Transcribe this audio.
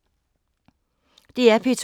DR P2